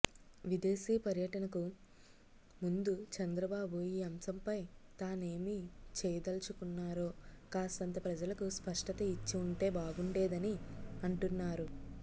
విదేశీ పర్యనటకు ముందు చంద్రబాబు ఈ అంశంపై తానేమి చేయదలచుకున్నారో కాస్తంత ప్రజలకు స్పష్టత ఇచ్చి ఉంటే బాగుండేదని అంటున్నారు